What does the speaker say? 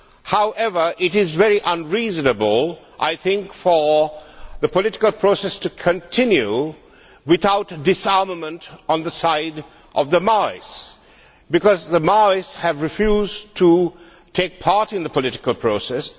However, it is very unreasonable, I think, for the political process to continue without disarmament on the side of the Maoists, because the Maoists have refused to take part in the political process.